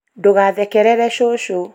ndũgathekerere cũcũ